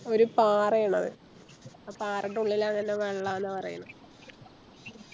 ഒരു പാറയാണത് ആ പാറെൻറെ ഉള്ളില് അങ്ങന്നെ വെള്ളാന്ന പറയുന്നേ